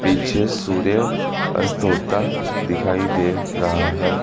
पीछे सूर्य अस्त होता दिखाई दे रहा है।